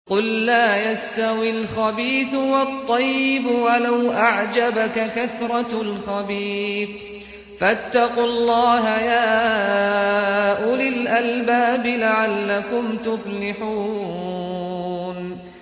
قُل لَّا يَسْتَوِي الْخَبِيثُ وَالطَّيِّبُ وَلَوْ أَعْجَبَكَ كَثْرَةُ الْخَبِيثِ ۚ فَاتَّقُوا اللَّهَ يَا أُولِي الْأَلْبَابِ لَعَلَّكُمْ تُفْلِحُونَ